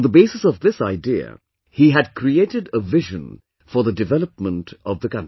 On the basis of this idea, he had created a vision for the development of the country